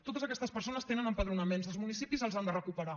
totes aquestes persones tenen empadronaments els municipis els han de recuperar